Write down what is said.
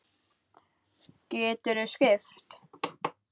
Geturðu skipt?